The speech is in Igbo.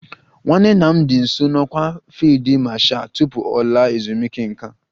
Nwanne nna m dị nso n'ọkwá nke Fiilidi Mashal tupu ọ laa ezumike nká